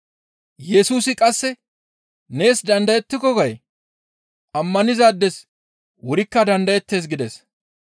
Yesusi qasse, « ‹Nees dandayettiko› gay? Ammanizaades wurikka dandayettees» gides.